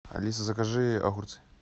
алиса закажи огурцы